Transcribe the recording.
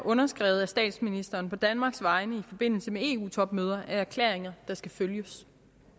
underskrevet af statsministeren på danmarks vegne i forbindelse med eu topmøder er erklæringer der skal følges